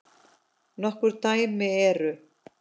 Nokkur dæmi eru